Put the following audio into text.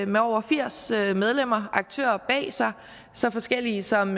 med over firs medlemmer og aktører så forskellige som